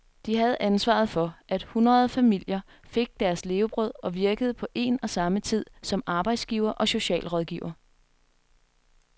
De havde ansvaret for, at hundrede familier fik deres levebrød og virkede på en og samme tid som arbejdsgiver og socialrådgiver.